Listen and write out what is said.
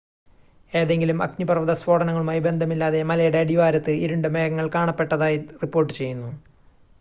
ഏതെങ്കിലും അഗ്നിപർവ്വത സ്ഫോടനങ്ങളുമായി ബന്ധമില്ലാതെ മലയുടെ അടിവാരത്ത് ഇരുണ്ട മേഘങ്ങൾ കാണപ്പെട്ടതായി റിപ്പോർട്ട് ചെയ്യുന്നു